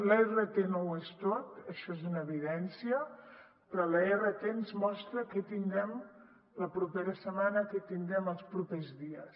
la rt no ho és tot això és una evidència però la rt ens mostra què tindrem la propera setmana què tindrem els propers dies